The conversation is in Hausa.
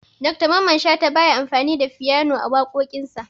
Dr mamman shata baya amfani da fyano a waƙoƙin sa